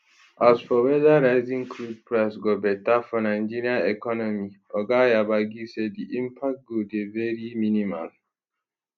as for weda rising crude price go beta for nigeria economy oga yabagi say di impact go dey very minimal